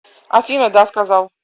афина да сказал